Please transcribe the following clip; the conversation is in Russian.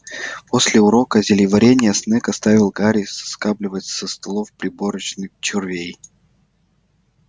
после урока зельеварения снегг оставил гарри соскабливать со столов пробирочных червей